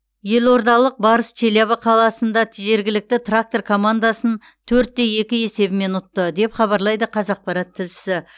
елордалық барыс челябі қаласында жергілікті трактор командасын төрт те екі есебімен ұтты деп хабарлайды қазақпарат тілшісі